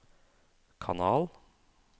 kanal